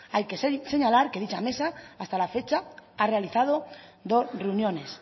hay que señalar que dicha mesa hasta la fecha ha realizado dos reuniones